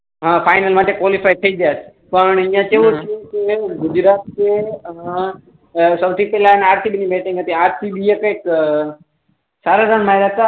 હા ફાઈનલ માટે ક્વોલીફાયડ થઇ જાય પણ અહિયાં કેવું છે કે ગુજરાત ને સૌથી પેહલા આરસીબી ની બેટિંગ હતી આરસીબી એ કઇક રન માર્યા હતા